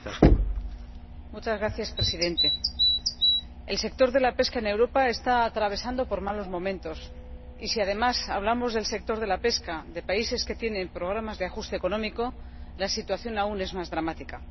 Señor Presidente, el sector de la pesca en Europa está atravesando por malos momentos y si además hablamos del sector de la pesca de países que tienen programas de ajuste económico, la situación aún es más dramática.